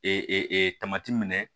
Ee tamati minɛ